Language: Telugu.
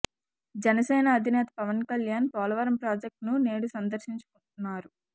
జనసేన అధినేత పవన్ కల్యాణ్ పోలవరం ప్రాజెక్టును నేడు సందర్శించనున్నారు